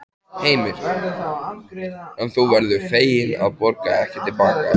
Heimir: En þú verður fegin að borga ekki til baka?